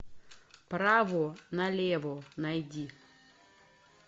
право на лево найди